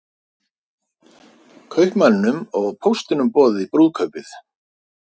Kaupmanninum og póstinum boðið í brúðkaupið